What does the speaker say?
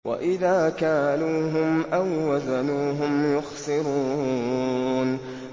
وَإِذَا كَالُوهُمْ أَو وَّزَنُوهُمْ يُخْسِرُونَ